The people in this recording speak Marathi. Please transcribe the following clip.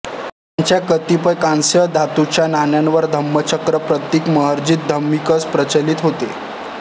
त्यांच्या कतिपय कांस्य धातूच्या नाण्यांवर धम्मचक्र प्रतीक महरजत धमिकस प्रचलित होते